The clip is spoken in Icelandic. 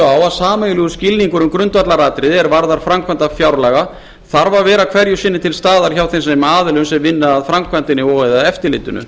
á að sameiginlegur skilningur um grundvallaratriði er varðar framkvæmd fjárlaga þarf að vera hverju sinni til staðar hjá þeim aðilum sem vinna að framkvæmdinni og eða eftirlitinu